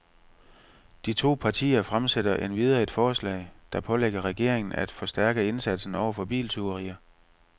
De to partier fremsætter endvidere et forslag, der pålægger regeringen af forstærke indsatsen over for biltyverier.